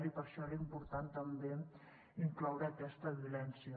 i per això era important també incloure hi aquesta violència